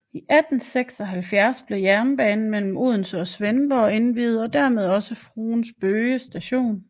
I 1876 blev jernbanen mellem Odense og Svendborg indviet og dermed også Fruens Bøge Station